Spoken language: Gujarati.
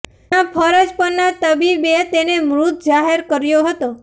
જ્યાં ફરજ પરના તબિબે તેને મૃત જાહેર કર્યો હતો